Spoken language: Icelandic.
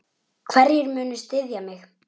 Hverjir munu styðja mig?